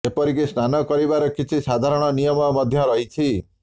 ଏପରିକି ସ୍ନାନ କରିବାର କିଛି ସାଧାରଣ ନିୟମ ମଧ୍ୟ ରହଛି